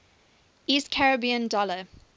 east caribbean dollar